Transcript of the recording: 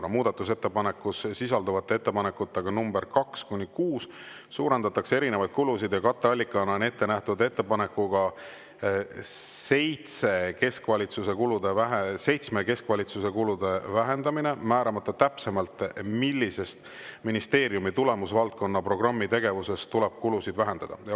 2) Muudatusettepanekus sisalduvate ettepanekutega nr 2 - 6 suurendatakse erinevaid kulusid ja katteallikana on ette nähtud ettepanekuga 7 keskvalitsuse kulude vähendamine, määramata täpsemalt, millisest ministeeriumi tulemusvaldkonna programmi tegevusest tuleb kulusid vähendada.